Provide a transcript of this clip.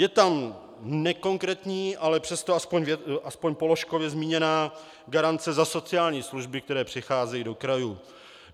Je tam nekonkrétní, ale přesto aspoň položkově zmíněná garance za sociální služby, které přicházejí do krajů.